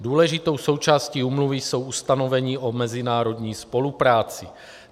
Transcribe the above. Důležitou součástí úmluvy jsou ustanovení o mezinárodní spolupráci.